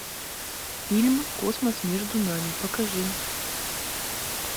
фильм космос между нами покажи